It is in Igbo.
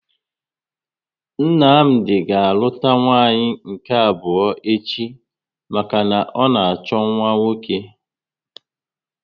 Nnamdi ga aluta nwanyị nke abụọ echi maka na ọ na achọ nwa nwoke